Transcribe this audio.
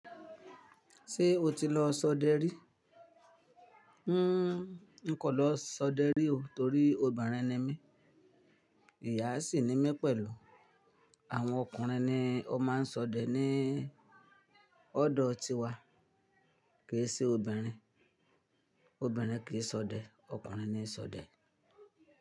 Ṣé o ti lọ sọdẹ rí? Hmm n kọ̀ lọ sọdẹ rí o torí obìnrin ni mí. Ìyá sì ni mí pẹ̀lú. Àwọn ọkùnrin ni ó máa ń sọdẹ ní ọ́dọ̀ tiwa, kì í se obìnrin. Obìnrin kì í sọdẹ, ọkùnrin nii sọdẹ.